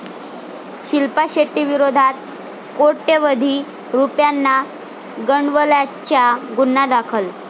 शिल्पा शेट्टीविरोधात कोट्यवधी रुपयांना गंडवल्याचा गुन्हा दाखल